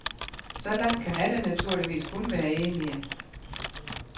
Så langt kan alle naturligvis kun være enige.